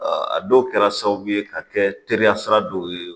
a dɔw kɛra sababu ye ka kɛ teriya sira dɔw ye